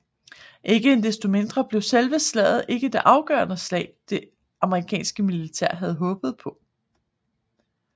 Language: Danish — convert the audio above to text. Ikke desto mindre blev selve slaget ikke det afgørende slag det amerikanske militær havde håbet på